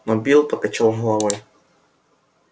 но билл покачал головой